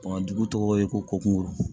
dugu tɔgɔ ye ko ko kunkolo